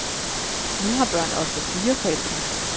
Nu har børn ofte fire forældre.